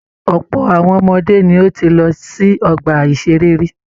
Ọ̀pọ̀ àwọn ọmọdé ní o tíí lọ sí ọgbà iṣere rí.